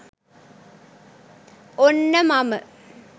ඔන්න මම